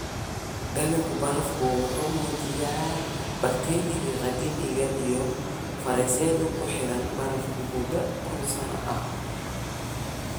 Dhallaanka barafku wuxuu muujinayaa bakteeriyada qadiimiga ah iyo fayrasyada ku xayiran barafka muddo kun sano ah.